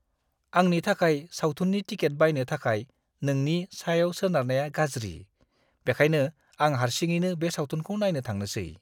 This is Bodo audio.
आंनि थाखाय सावथुननि टिकेट बायनो थाखाय नोंनि सायाव सोनारनाया गाज्रि, बेनिखायनो आं हारसिङैनो बे सावथुनखौ नायनो थांनोसै।